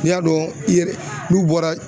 N'i y'a dɔn i yɛrɛ n'u bɔra